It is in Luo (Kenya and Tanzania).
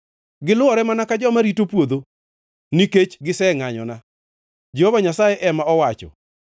Gilwore mana ka joma rito puodho, nikech osengʼanyona,’ ” Jehova Nyasaye ema owacho.